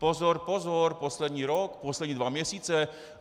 Pozor, pozor, poslední rok, poslední dva měsíce.